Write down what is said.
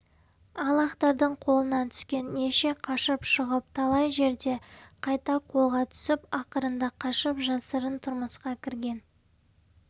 ал ақтардың қолына түскен неше қашып шығып талай жерде қайта қолға түсіп ақырында қашып жасырын тұрмысқа кірген